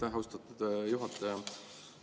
Aitäh, austatud juhataja!